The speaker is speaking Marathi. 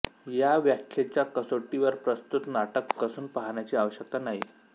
या व्याखेच्या कसोटीवर प्रस्तुत नाटक कसून पाहण्याची आवश्यकता नाहीं